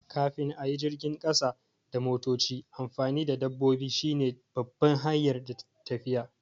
Kafin a yi jirgin ƙasa da motoci, amfani da dabbobi shine babban hanyar tafiya.